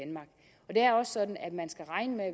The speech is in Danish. er også sådan at man skal regne med at